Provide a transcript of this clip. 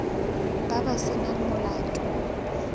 ba ba se nang molato